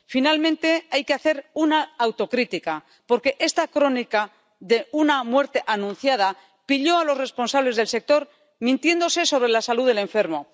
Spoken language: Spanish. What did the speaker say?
Finalmente, hay que hacer una autocrítica, porque esta crónica de una muerte anunciada pilló a los responsables del sector mintiéndose sobre la salud del enfermo.